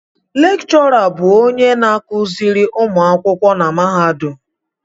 Lékchọrà bụ onye na-akụziri ụmụ akwụkwọ na mahadum